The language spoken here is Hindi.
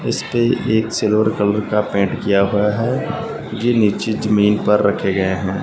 इसपे एक सिल्वर कलर का पेंट किया हुआ है ये नीचे जमीन पर रखे गए हैं।